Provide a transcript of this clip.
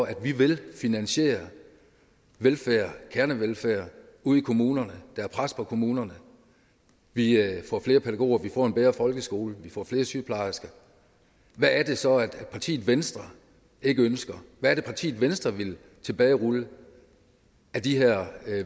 at vi vil finansiere kernevelfærd ude i kommunerne der er pres på kommunerne vi får flere pædagoger vi får en bedre folkeskole vi får flere sygeplejersker hvad er det så partiet venstre ikke ønsker hvad er det partiet venstre vil tilbagerulle af de her